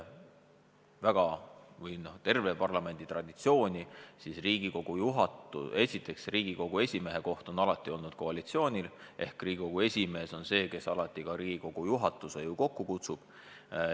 Meie parlamendi traditsioon on selline, et Riigikogu esimehe koht on alati olnud koalitsiooni esindaja käes, ja Riigikogu esimees kutsub alati Riigikogu juhatuse kokku.